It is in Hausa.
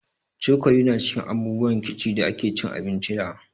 Cokali ma cikin abubuwan kici da ake cin abinci da